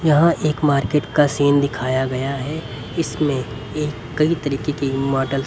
यहां एक मार्केट का सीन दिखाया गया है इसमें कई तरीके के --